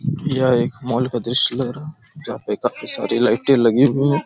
यह एक मॉल का दृश्य लग रहा हैं जहाँ पे काफी सारे लाइटे लगी हुई हैं ।